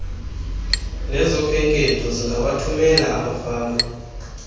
nezokhenketho lingawathumela amafama